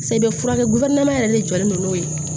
Sa i bɛ furakɛ yɛrɛ de jɔlen don n'o ye